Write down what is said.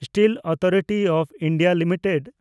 steel authority of India limited